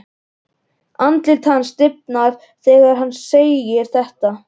Andlit hans stífnar þegar hún segir þetta.